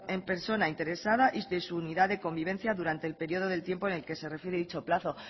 la persona interesada y de su unidad de convivencia durante el periodo del tiempo en el que se refiere dicho plazo